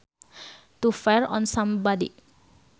To fire on somebody